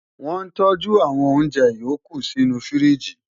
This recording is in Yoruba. wọ́n tọ́jú àwọn oúnjẹ yòókù sínú u fíríjì